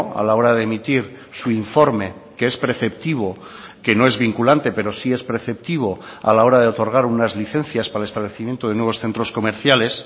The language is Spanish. a la hora de emitir su informe que es preceptivo que no es vinculante pero sí es preceptivo a la hora de otorgar unas licencias para el establecimiento de nuevos centros comerciales